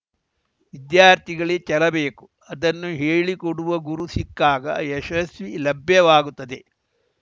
ವಿದ್ಯಾರ್ಥಿಗಳಿಗೆ ಛಲ ಬೇಕು ಅದನ್ನು ಹೇಳಿಕೊಡುವ ಗುರು ಸಿಕ್ಕಾಗ ಯಶಸ್ಸು ಲಭ್ಯವಾಗುತ್ತದೆ